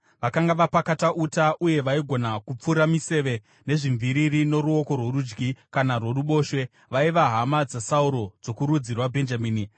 Vakanga vapakata uta uye vaigona kupfura miseve nezvimviriri noruoko rworudyi kana rworuboshwe; vaiva hama dzaSauro dzokurudzi rwaBhenjamini.